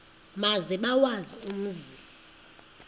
maze bawazi umzi